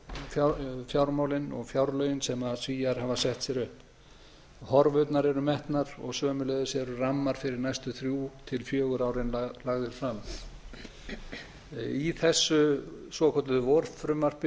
um fjármálin og fjárlögin sem svíar hafa sett hér upp horfurnar eru metnar og sömuleiðis eru rammar fyrir næstu þrjú til fjögur árin lagðir fram í þessu svokölluðu vorfrumvarpi